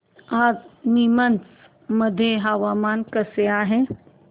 आज नीमच मध्ये हवामान कसे आहे